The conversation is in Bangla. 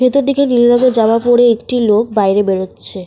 ভিতর থেকে নীল রঙের জামা পরে একটি লোক বাইরে বেরোচ্ছে।